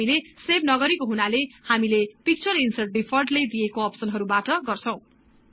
हामीले सेभ नगरेको हुनाले हामीले पिक्चर ईन्सर्ट डिफल्टले दिएको अप्सनहरु बाट गर्छौं